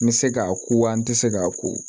N bɛ se k'a ko wa n tɛ se k'a ko